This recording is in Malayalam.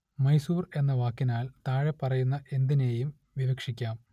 മൈസൂർ എന്ന വാക്കിനാൽ താഴെപ്പറയുന്ന എന്തിനേയും വിവക്ഷിക്കാം